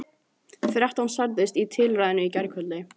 Þrettán særðust í tilræðinu í gærkvöldi